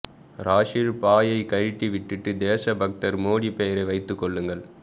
ராஹுல் பாயை கழட்டி விட்டுட்டு தேச பக்தர் மோடி பெயரை வைத்துக்கொள்ளுங்கள்